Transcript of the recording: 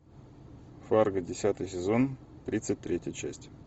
фарго десятый сезон тридцать третья часть